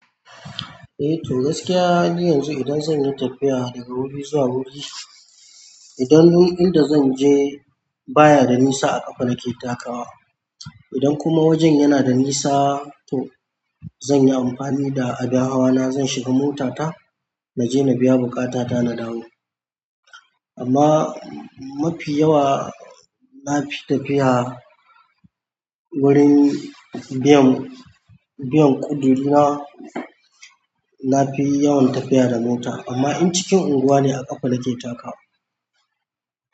Eh to gaskiya yanzu idan zan yi tafiya daga wuri zuwa wuri, idan dun inda zan je baya da nisa a ƙafa nake takawa. Idan kuma wajen yana da nisa to zan yi amfani da abin hawana, zan shiga motata na je na biya bukatata na dawo. Amma mafi yawa na fi tafiya wurin biyan, biyan ƙuduri na, na fi yawan tafiya da mota amma in cikin unguwa ne a ƙafa nake takawa.